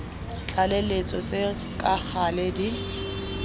tlaleletso tse ka gale di